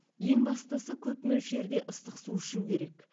ең бастысы көп мөлшерде ыстық су ішу керек